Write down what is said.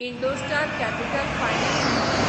Indostar capital finance limited